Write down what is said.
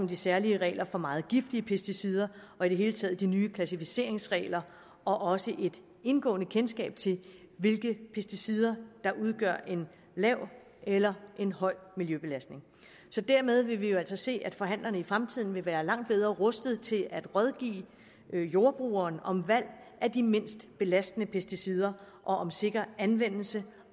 de særlige regler for meget giftige pesticider og i det hele taget de nye klassificeringsregler og også et indgående kendskab til hvilke pesticider der udgør en lav eller en høj miljøbelastning dermed vil vi jo altså se at forhandlerne i fremtiden vil være langt bedre rustet til at rådgive jordbrugeren om valg af de mindst belastende pesticider og om sikker anvendelse